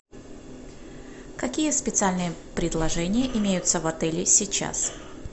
какие специальные предложения имеются в отеле сейчас